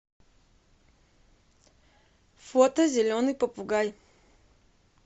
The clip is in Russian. фото зеленый попугай